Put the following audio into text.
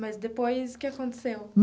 Mas depois o que aconteceu?